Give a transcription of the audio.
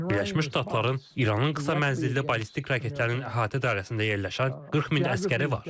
Birləşmiş Ştatların İranın qısa mənzilli ballistik raketlərinin əhatə dairəsində yerləşən 40 min əsgəri var.